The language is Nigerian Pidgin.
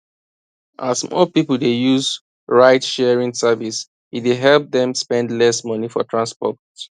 as more people dey use ridesharing service e dey help them spend less money for transport